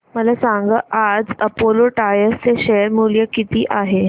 मला सांगा आज अपोलो टायर्स चे शेअर मूल्य किती आहे